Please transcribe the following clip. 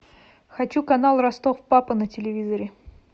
хочу канал ростов папа на телевизоре